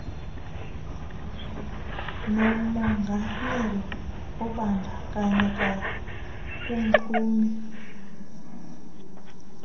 nomonganyelwa obandakanyeka kumxumi